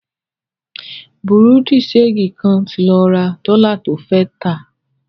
Bùrúdì ṣẹegì kan ti lọ ra dọ́lá to fẹ́ tà.